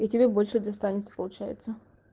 и тебе больше достанется получается